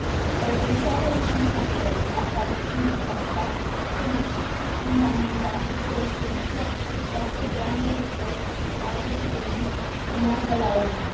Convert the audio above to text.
O eventuală recunoaștere a Palestinei ca stat trebuie să fie fundamentată pe o soluție acceptată de ambele părți cu care, împreună, să meargă la ONU.